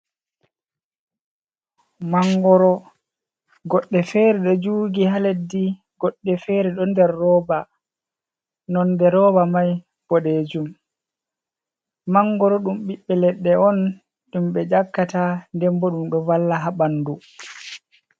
Mangoro goɗɗe feere do jugi ha leddi, goɗɗe fere ɗo nder rooba nonde rooba mai bodejum, mangoro ɗum ɓiɓɓe leɗɗe on ɗum ɓe yakkata, dembo ɗum do valla ha bandu.